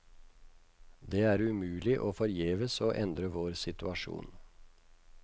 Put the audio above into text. Det er umulig og forgjeves å endre vår situasjon.